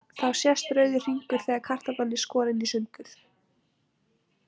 Þá sést rauður hringur þegar kartaflan er skorin í sundur.